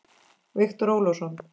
Viktor Ólason.